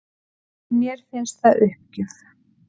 Mér finnst það uppgjöf